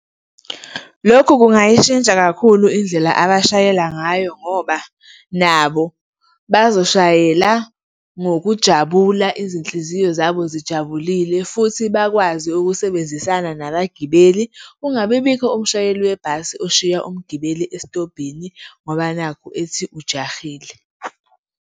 Lokhu kungayishintsha kakhulu indlela abashayela ngayo ngoba nabo bazoshayela ngokujabula, izinhliziyo zabo zijabulile futhi bakwazi ukusebenzisana nabagibeli. Kungabibikho umshayeli webhasi oshiya umgibeli esitobhini ngoba nakhu ethi ujahile.